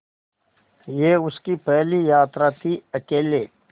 यह उसकी पहली यात्रा थीअकेले